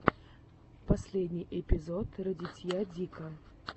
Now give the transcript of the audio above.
последний эпизод радитья дика